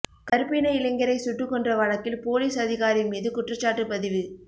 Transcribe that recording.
கருப்பின இளைஞரை சுட்டு கொன்ற வழக்கில் போலீஸ் அதிகாரி மீது குற்றச்சாட்டு பதிவு